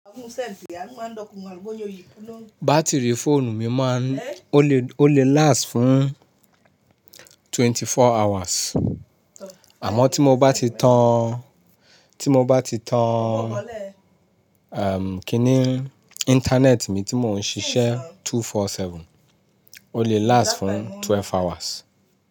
Bátìrì fóònù mi máa ń, ó lè, ó lè last fún twenty-four hours, àmọ́ tí mo bá ti tan, tí mo bá ti tan, erm, kíni, internet mi tí mò ń ṣiṣẹ́ two four seven, ó lè last fún twelve hours.